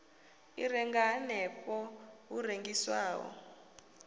i renga hanefho hu rengiswaho